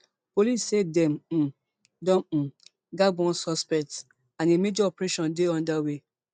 police say dem um don um gbab one suspect and a major operation dey under way